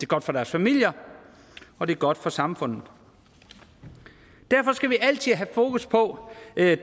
godt for deres familier og det er godt for samfundet derfor skal vi altid have fokus på